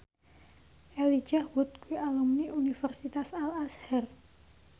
Elijah Wood kuwi alumni Universitas Al Azhar